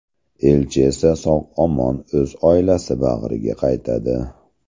Elchi esa sog‘-omon o‘z oilasi bag‘riga qaytadi.